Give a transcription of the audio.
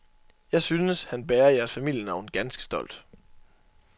Jeg synes, han bærer jeres familienavn ganske stolt.